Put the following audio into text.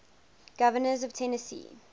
governors of tennessee